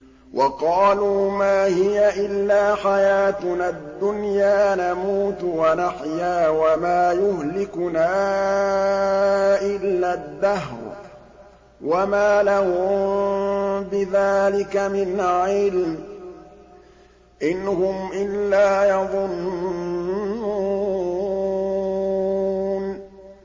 وَقَالُوا مَا هِيَ إِلَّا حَيَاتُنَا الدُّنْيَا نَمُوتُ وَنَحْيَا وَمَا يُهْلِكُنَا إِلَّا الدَّهْرُ ۚ وَمَا لَهُم بِذَٰلِكَ مِنْ عِلْمٍ ۖ إِنْ هُمْ إِلَّا يَظُنُّونَ